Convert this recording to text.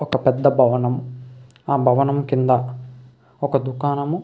ఒక పెద్ద భవనం ఆ భవణం కింద ఒక దుకాణము.